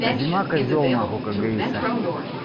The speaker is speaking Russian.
а зима козёл нахуй как говорится